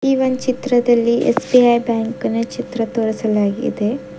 ಈ ಒನ್ ಚಿತ್ರದಲ್ಲಿ ಎಸ್_ಬಿ_ಐ ಬ್ಯಾಂಕಿನ ಚಿತ್ರವನ್ನು ತೋರಿಸಲಾಗಿದೆ.